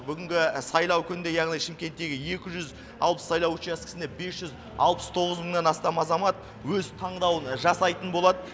бүгінгі сайлау күнінде яғни шымкенттегі екі жүз алпыс сайлау учаскесіне бес жүз алпыс тоғыз мыңнан астам азамат өз таңдауын жасайтын болады